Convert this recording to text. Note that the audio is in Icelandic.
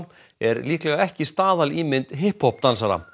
er líklega ekki staðalímynd hip hop dansara